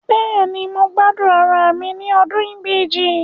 Bẹ́ẹ̀ni, mo gbádùn ara mi ní ọdún ibeji